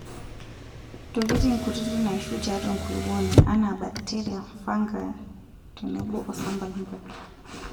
ntokitin kutiti naishu tiatua enkulukuoni anaa bakteria, fungi tenebo osampulal.